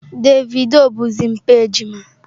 Davido bụzi mpa ejima.